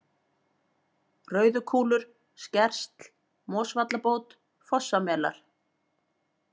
Rauðukúlur, Skersl, Mosvallabót, Fossamelar